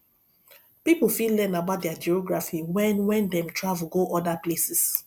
pipo fit learn about their geography when when dem travel go oda places